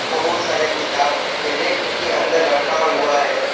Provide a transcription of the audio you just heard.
बहुत सारे किताब रैक के अंदर रखा हुआ है।